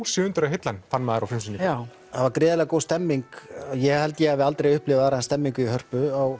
sig undir að heilla hann fann maður á frumsýningu já það var gríðarlega góð stemning ég held ég hafi aldrei upplifað aðra eins stemningu í Hörpu á